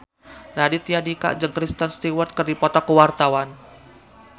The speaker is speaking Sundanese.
Raditya Dika jeung Kristen Stewart keur dipoto ku wartawan